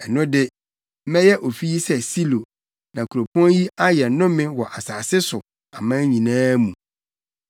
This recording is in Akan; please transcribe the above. ɛno de, mɛyɛ ofi yi sɛ Silo, na kuropɔn yi ayɛ nnome wɔ asase so aman nyinaa mu.’ ”